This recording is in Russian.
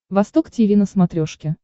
восток тиви на смотрешке